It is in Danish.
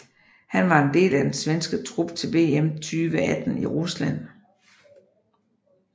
Han var en del af den svenske trup til VM 2018 i Rusland